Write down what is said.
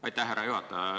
Aitäh, härra juhataja!